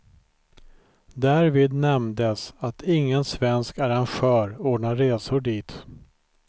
Därvid nämndes, att ingen svensk arrangör ordnar resor dit.